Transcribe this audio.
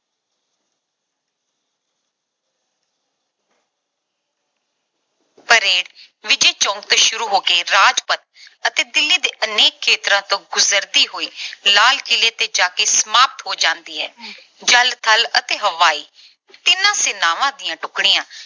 parade Vijay Chowk ਤੋਂ ਸ਼ੁਰੂ ਹੋ ਕੇ ਰਾਜਪਥ ਅਤੇ ਦਿੱਲੀ ਦੇ ਅਨੇਕ ਖੇਤਰਾਂ ਤੋਂ ਗੁਜਰਦੀ ਹੋਈ ਲਾਲ ਕਿਲ੍ਹੇ ਤੇ ਜਾ ਕੇ ਸਮਾਪਤ ਹੋ ਜਾਂਦੀ ਹੈ। ਜਲ, ਥਲ ਅਤੇ ਹਵਾਈ ਤਿੰਨੋਂ ਸੈਨਾਵਾਂ ਦੀਆਂ ਟੁਕੜੀਆਂ